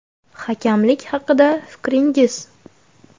− Hakamlik haqida fikringiz?